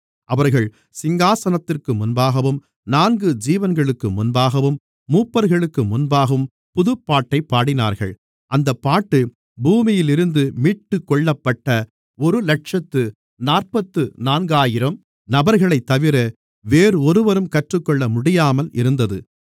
அவர்கள் சிங்காசனத்திற்கு முன்பாகவும் நான்கு ஜீவன்களுக்கு முன்பாகவும் மூப்பர்களுக்கு முன்பாகவும் புதுப்பாட்டைப் பாடினார்கள் அந்தப் பாட்டு பூமியிலிருந்து மீட்டுக்கொள்ளப்பட்ட ஒருஇலட்சத்து நாற்பத்து நான்காயிரம் நபர்களைத்தவிர வேறொருவரும் கற்றுக்கொள்ளமுடியாமல் இருந்தது